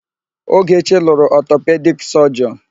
Ogechi lụrụ ọtọpedik sọjịọn.